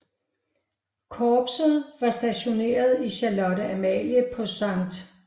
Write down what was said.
Korpset var stationeret i Charlotte Amalie på Skt